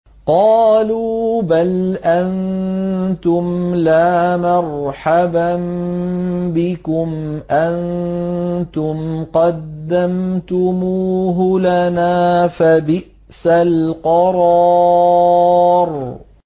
قَالُوا بَلْ أَنتُمْ لَا مَرْحَبًا بِكُمْ ۖ أَنتُمْ قَدَّمْتُمُوهُ لَنَا ۖ فَبِئْسَ الْقَرَارُ